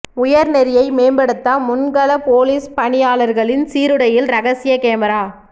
உயர்நெறியை மேம்படுத்த முன் கள போலீஸ் பணியாளர்களின் சீருடையில் ரகசிய கேமரா